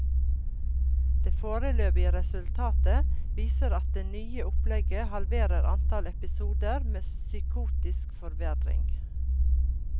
De foreløpige resultatene viser at det nye opplegget halverer antall episoder med psykotisk forverring.